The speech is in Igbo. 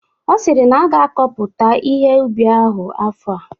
Ọ sịrị na a ga-akọpụta ihe ubi ahụ afọ a